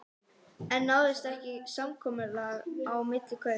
En náist ekki samkomulag á milli kaup.